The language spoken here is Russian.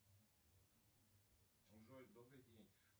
джой добрый день